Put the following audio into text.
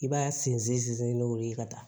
I b'a sinsin n'o de ye ka taa